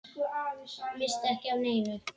Missti ekki af neinu.